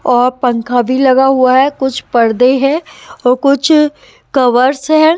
औ पंखा भी लगा हुआ है कुछ पर्दे हैं और कुछ कवर्स है।